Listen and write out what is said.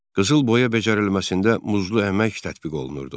Qızılboya becərilməsində muzlu əmək tətbiq olunurdu.